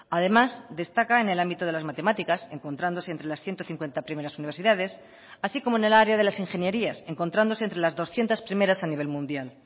además destaca en el ámbito de las matemáticas encontrándose entre las ciento cincuenta primeras universidades así como en el área de las ingenierías encontrándose entre las doscientos primeras a nivel mundial